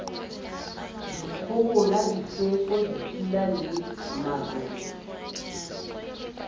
dikgohola difefo dipula le marole